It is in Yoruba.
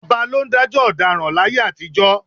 Ọba ló ń dájọ́ ọ̀daràn láyé àtijọ́